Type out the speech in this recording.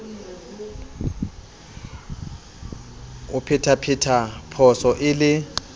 o phethaphetha phoso e le